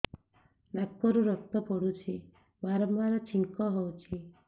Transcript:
ନାକରୁ ରକ୍ତ ପଡୁଛି ବାରମ୍ବାର ଛିଙ୍କ ହଉଚି